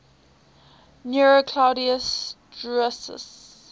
nero claudius drusus